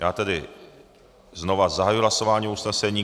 Já tedy znova zahajuji hlasování o usnesení.